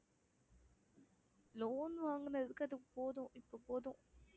loan வாங்குனதுக்கு அது போதும் இப்ப போதும்